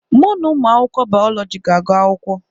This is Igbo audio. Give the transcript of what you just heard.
Mụ na ụmụ akwụkwọ bayọlọji ga-agụ akwụkwọ.